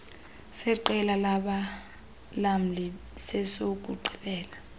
seqela labalamli sesokugqibela